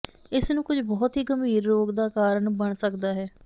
ਇਸ ਨੂੰ ਕੁਝ ਬਹੁਤ ਹੀ ਗੰਭੀਰ ਰੋਗ ਦਾ ਕਾਰਨ ਬਣ ਸਕਦਾ ਹੈ